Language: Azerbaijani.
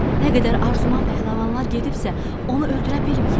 Nə qədər arzuman pəhləvanlar gedibsə, onu öldürə bilməyib.